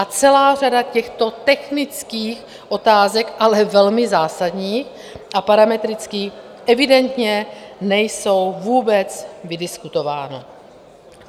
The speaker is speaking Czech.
A celá řada těchto technických otázek, ale velmi zásadních a parametrických, evidentně není vůbec vydiskutována.